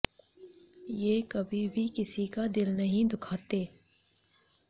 ये कभी भी किसी का दिल नहीं दुखाते